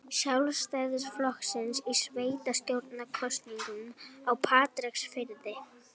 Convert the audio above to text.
Sjálfstæðisflokksins í sveitarstjórnarkosningum á Patreksfirði.